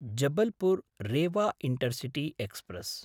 जबलपुर्–रेवा intercity express